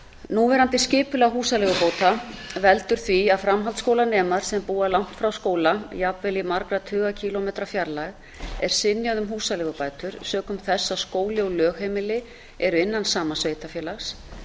núverandi skipulag húsaleigubóta veldur því að framhaldsskólanema sem búa langt frá skóla jafnvel í margra tuga kílómetra fjarlægð er synjað um húsaleigubætur sökum þess að skóli og lögheimili eru innan sama sveitarfélags